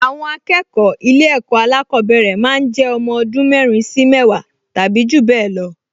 Àwọn akẹ́kọ̀ọ ilé ẹ̀kọ́ alákọ̀ọ́bẹ̀rẹ̀ máa ń jẹ́ ọmọ ọdún mẹ́rin sí mẹ́wàá tàbí jù bẹ́ẹ̀ lọ